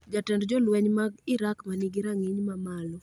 Jatend jolweny mag Iraq ma nigi rang'iny mamalo